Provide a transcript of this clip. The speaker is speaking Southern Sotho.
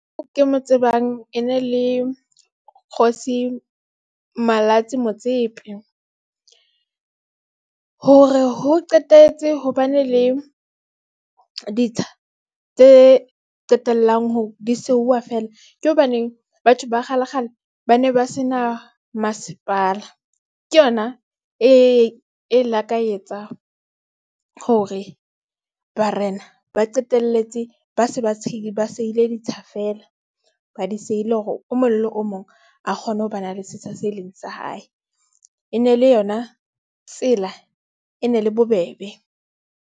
Ke mo tsebang e ne le Kgosi Malatsi Motsepe hore ho qetetse ho ba ne le ditsha tse qetellang hore di seuwa feela, ke hobaneng batho ba kgale kgale ba ne ba se na masepala. Ke yona e e la ka etsa hore barena ba qetelletse, ba se ba ba seile ditsha feela. Ba di sehile hore o mong le o mong a kgone ho ba na le setsha se leng sa hae, e ne le yona tsela e ne le bobebe.